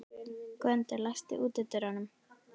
Gvöndur, læstu útidyrunum.